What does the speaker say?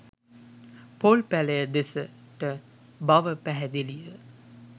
පොල් පැලය දෙසට බව පැහැදිලිය.